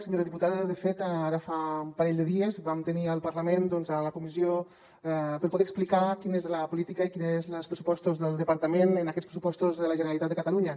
senyora diputada de fet ara fa un parell de dies vam tenir al parlament doncs la comissió per poder explicar quina és la política i quina és la dels pressupostos del departament en aquests pressupostos de la generalitat de catalunya